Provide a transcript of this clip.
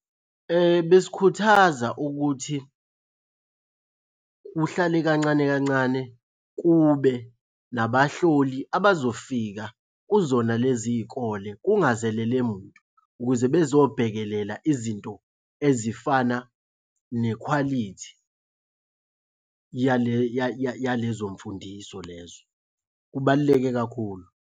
Besikhuthaza ukuthi kuhlale kancane kancane kube nabahloli abazofika kuzona lezi iy'kole kungazelele muntu, ukuze bezobhekelela izinto ezifana nekhwalithi yale yalezo mfundiso lezo. Kubaluleke kakhulu.